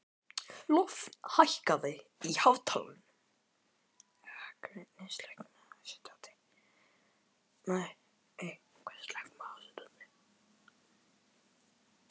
Lofn, hækkaðu í hátalaranum.